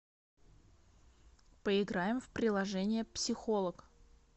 поиграем в приложение психолог